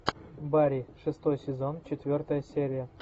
барри шестой сезон четвертая серия